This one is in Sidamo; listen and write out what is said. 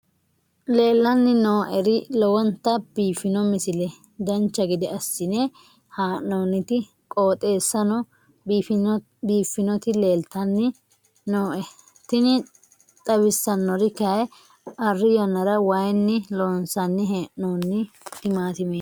leellanni nooeri lowonta biiffino misile dancha gede assine haa'noonniti qooxeessano biiffinoti leeltanni nooe tini xawissannori kayi arri yannara wayinni loonsanni hee'noonni timaatimeeti